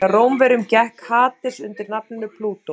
hjá rómverjum gekk hades undir nafninu plútó